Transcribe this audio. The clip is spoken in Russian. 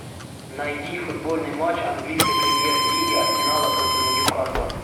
найди футбольный матч английской премьер лиги арсенала против ньюкасла